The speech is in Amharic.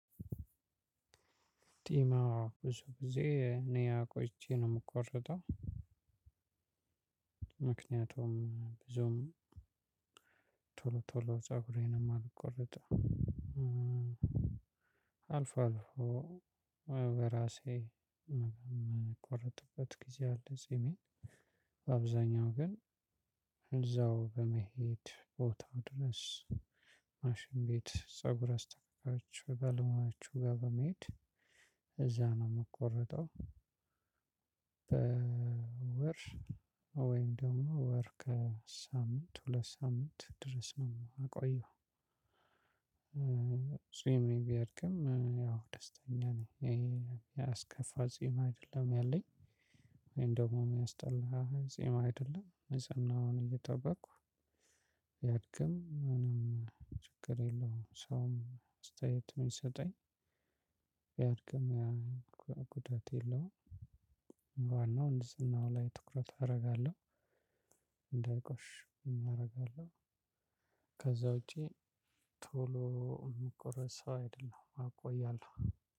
ጢም ብዙ ጊዜ እኔ አቆይቼ ነው የምቆርጠው። ምክንያቱም ብዙም ቶሎ ቶሎ ፀጉሬንም አልቆረጠም አልፎ አልፎ በራሴ የምቆረጥበት ጊዜ አለ። ጺሜን በአብዛኛው ቀን እዛው በመሄድ ቦታው ድረስ ማሽን ቤት ፀጉር አስተካካዮች ባለሙያዎቹ ጋር በመሄድ እዛ ነው የምቆረጠው። በወር ወይም ደግሞ ወር ከሳምንት ሁለት ሳምንት ድረስ ነው የምቆየው። ፂሜ ቢያድግም ያው ደስተኛ ነኝ ይሄ የሚያስከፋ ጺም አይደለም ያለኝ። ወይም ደግሞ የሚያስጠላ አይደለም ንፅናውን እየጠበቅኩ ቢድግም ምንም ችግር የለውም። ሰውም አስተያይት የሚሰጠኝ ቢድግም ጉዳት የለውም። ዋናው ንጽህናው ላይ ትኩረት አደርጋለሁ እንዳይቆሽሽ አደርጋለሁ። ከዛ ውጪ ቶሎ የምቆረጥ ሰው አይደለሁም አቆያለሁ።